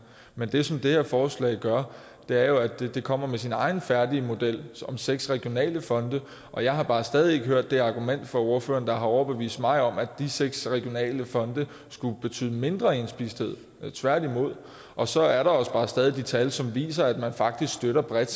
men det som det her forslag gør er jo at det kommer med sin egen færdige model med seks regionale fonde og jeg har bare stadig ikke hørt det argument fra ordføreren der har overbevist mig om at de seks regionale fonde skulle betyde mindre indspisthed tværtimod og så er der også bare stadig de tal som viser at man faktisk støtter bredt